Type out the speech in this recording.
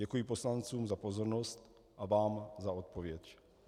Děkuji poslancům za pozornost a vám za odpověď.